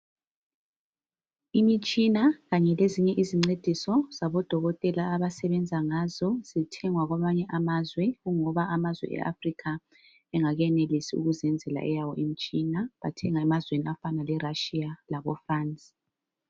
Imitshina kanye lezinye izincediso zabodokotela abasebenza ngazo zithengwa kwamanye amazwe ngoba amazwe e-Africa engakenelisi ukuzenzela eyawo imitshina. Bathenga emazweni afana le Russia labo France.